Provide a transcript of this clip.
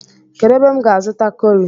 Kedu ebe m ga-azuta kọri?